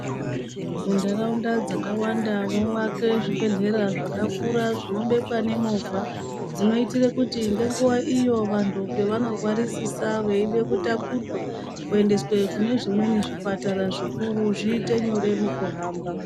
Muntaraunda dzakawanda mwovake zvibhehlera zvakakura zvinobekwa nemovha dzinoitire kuti ngenguva iyo vantu pavanorwarisisa veida kutakurwa kuendeswe kune zvimweni zvipatara zvikuru zviite nyore mukuhamba.